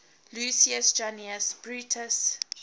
lucius junius brutus